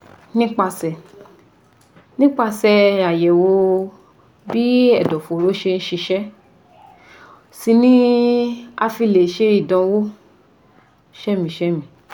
Nípasẹ̀ Nípasẹ̀ àyẹ̀wò bí ẹ̀dọ̀fóró ṣe ń ṣiṣẹ́ sí ni a fi lè sẹ ìdámọ̀ sémìí-sémìí